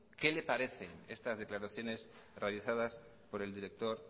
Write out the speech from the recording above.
que le parecen estas declaraciones realizados por el director